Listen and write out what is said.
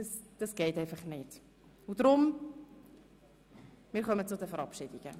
Darum kommen wir jetzt zu den Verabschiedungen.